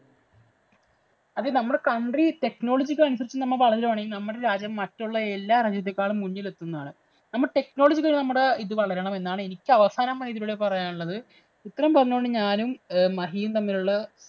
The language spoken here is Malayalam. അത് നമ്മുടെ country technology ക്കനുസരിച്ചു നമ്മ വളരുകയാണെങ്കില്‍ നമ്മടെ രാജ്യം മറ്റുള്ള എല്ലാ രാജ്യത്തേക്കാളും മുന്നിലെത്തുന്നതാണ്. നമ്മുടെ technology ഇത് വളരണം എന്നാണ് എനിക്ക് അവസാനമായി ഇതിലൂടെ പറയാനുള്ളത്. ഇത്രയും പറഞ്ഞുകൊണ്ട് ഞാനും ഏർ മഹിയും തമ്മിലുള്ള